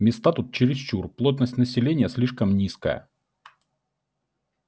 места тут чересчур плотность населения слишком низкая